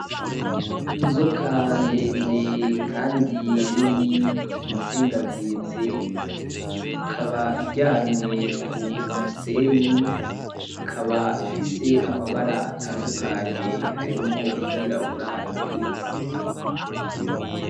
Inzoka ndende kandi nini yizingazinze ikaba iryamye kumusenyi, ikaba ifise amabara atandukanye hharimwo iryirabura, iryumuhondo.